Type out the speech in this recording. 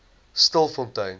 stilfontein